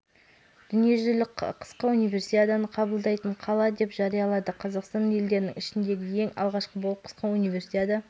бүгін еліміздің басым бөлігінде атмосфералық фронттардың өтуіне байланысты тұрақсыз ауа райы сақталады кей жерлерде қар күтіледі